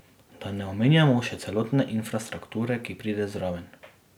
Da ne omenjamo še celotne infrastrukture, ki pride zraven.